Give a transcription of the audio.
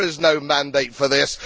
There is no mandate for this.